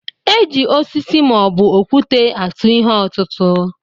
E ji osisi ma ọ bụ okwute atụ ihe ọtụtụ.